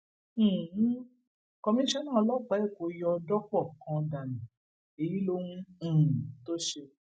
um kọmíṣánná ọlọpàá èkó yọ dọpọ kan dànù èyí lóhun um tó ṣe